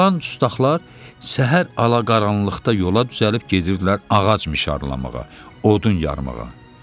Qalan dustaqlar səhər ala qaranlıqda yola düzəlib gedirdilər ağac mişarlamağa, odun yarmağa.